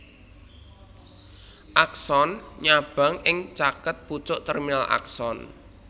Akson nyabang ing caket pucuk terminal akson